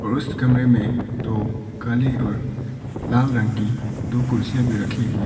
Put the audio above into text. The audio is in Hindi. उस कमरे में दो काली और लाल रंग की दो कुर्सियां भी रखे हुए है।